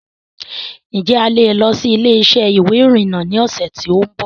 Ǹ jẹ́ a lè lọ síí ilé-isẹ́ ìwé ìrìnà ni ọ̀sẹ̀ tòun bọ̀